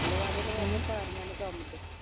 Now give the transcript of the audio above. ਲਵਾਦੇ ਲਵਾਦੇ ਸਾਰੀਆ ਨੂੰ ਕੰਮ ਤੇ